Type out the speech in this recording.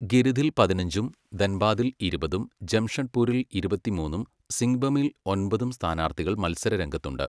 ഗിരിഥിൽ പതിനഞ്ചും, ധൻബാദിൽ ഇരുപതും, ജംഷഡ്പൂരിൽ ഇരുപത്തിമൂന്നും, സിങ്ബമിൽ ഒൻപതും സ്ഥാനാർത്ഥികൾ മത്സരരംഗത്തുണ്ട്.